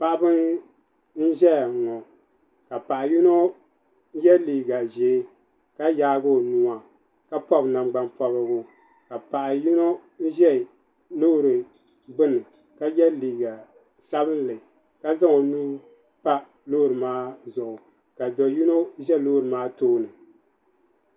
paɣaba n ʒɛya ŋɔ ka paɣa yino yɛ liiga ʒiɛ ka yaagi o nuwa o pobi nangbani pobirigu ka paɣa yino ʒɛ loori gbuni ka yɛ liiga sabinli ka zaŋ o nuu pa loori maa zuɣu ka do yino ʒɛ loori maa tooni